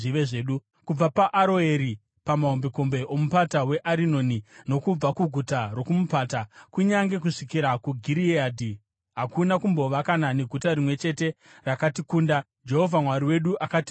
Kubva paAroeri pamahombekombe oMupata weArinoni, nokubva kuguta rokumupata, kunyange kusvikira kuGireadhi, hakuna kumbova kana neguta rimwe chete rakatikunda. Jehovha Mwari wedu akatipa vose.